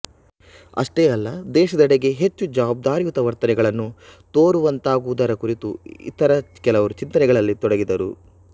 ಅಷ್ಟೇ ಅಲ್ಲ ದೇಶದೆಡೆಗೆ ಹೆಚ್ಚು ಜವಾಬ್ದಾರಿಯುತ ವರ್ತನೆಗಳನ್ನು ತೋರುವಂತಾಗುವುದರ ಕುರಿತೂ ಇತರ ಕೆಲವರು ಚಿಂತನೆಗಳಲ್ಲಿ ತೊಡಗಿದರು